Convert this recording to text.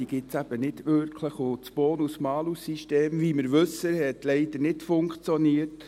Die gibt es eben nicht wirklich, und das Bonus-Malus-System hat leider, wie wir wissen, nicht funktioniert.